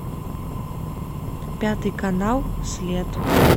пятый канал след